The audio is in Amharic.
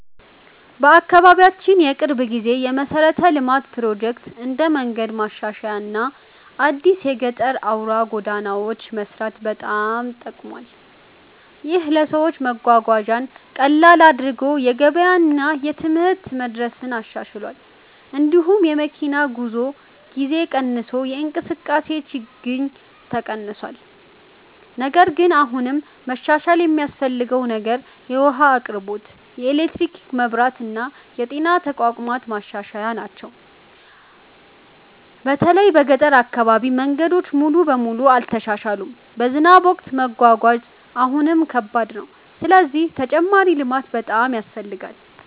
በአካባቢያችን የቅርብ ጊዜ የመሠረተ ልማት ፕሮጀክት እንደ መንገድ ማሻሻያ እና አዲስ የጠገና አውራ ጎዳናዎች መስራት በጣም ጠቅሟል። ይህ ለሰዎች መጓጓዣን ቀላል አድርጎ የገበያ እና የትምህርት መድረስን አሻሽሏል። እንዲሁም የመኪና ጉዞ ጊዜ ቀንሶ የእንቅስቃሴ ችግኝ ተቀንሷል። ነገር ግን አሁንም መሻሻል የሚያስፈልገው ነገር የውሃ አቅርቦት፣ የኤሌክትሪክ መብራት እና የጤና ተቋማት ማሻሻያ ናቸው። በተለይ በገጠር አካባቢ መንገዶች ሙሉ በሙሉ አልተሻሻሉም፣ በዝናብ ወቅት መጓጓዣ አሁንም ከባድ ነው። ስለዚህ ተጨማሪ ልማት በጣም ያስፈልጋል።